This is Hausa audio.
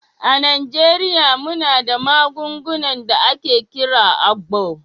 A Najeriya muna da magungunan da ake kira "agbo"